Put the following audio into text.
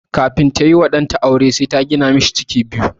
Kafin tayi wa ɗan aure sai ta gina masa ciki biyu.